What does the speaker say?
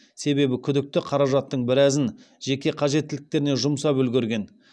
себебі күдікті қаражаттың біразын жеке қажеттіліктеріне жұмсап үлгерген